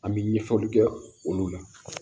An bɛ ɲɛfɔli kɛ olu la